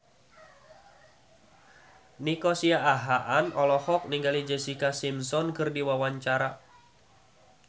Nico Siahaan olohok ningali Jessica Simpson keur diwawancara